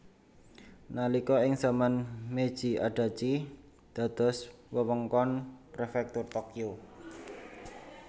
Nalika ing zaman Meiji Adachi dados wewengkon Prefektur Tokyo